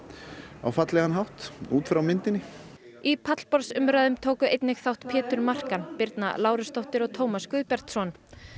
á fallega hátt út frá myndinni í pallborðsumræðum tóku einnig þátt Pétur Markan Birna Lárusdóttir og Tómas Guðbjartsson